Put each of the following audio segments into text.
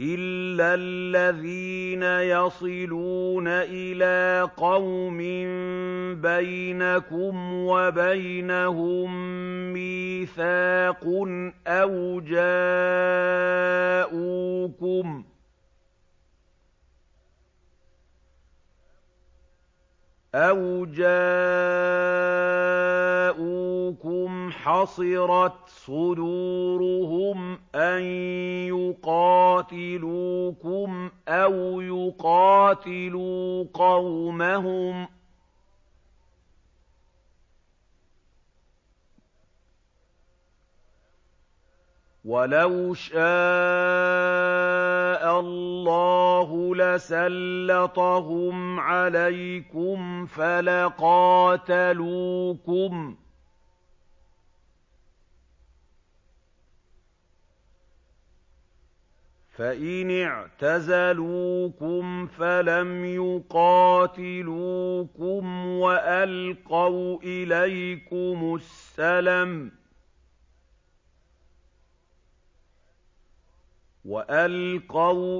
إِلَّا الَّذِينَ يَصِلُونَ إِلَىٰ قَوْمٍ بَيْنَكُمْ وَبَيْنَهُم مِّيثَاقٌ أَوْ جَاءُوكُمْ حَصِرَتْ صُدُورُهُمْ أَن يُقَاتِلُوكُمْ أَوْ يُقَاتِلُوا قَوْمَهُمْ ۚ وَلَوْ شَاءَ اللَّهُ لَسَلَّطَهُمْ عَلَيْكُمْ فَلَقَاتَلُوكُمْ ۚ فَإِنِ اعْتَزَلُوكُمْ فَلَمْ يُقَاتِلُوكُمْ وَأَلْقَوْا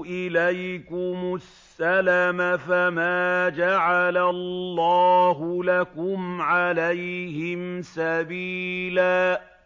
إِلَيْكُمُ السَّلَمَ فَمَا جَعَلَ اللَّهُ لَكُمْ عَلَيْهِمْ سَبِيلًا